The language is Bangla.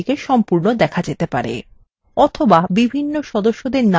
অথবা বিভিন্ন সদস্যদের namesএর উপর ক্লিক করতে পারেন